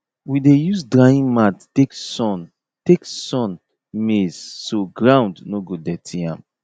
we dey use drying mat take sun take sun maize so ground no go dirty am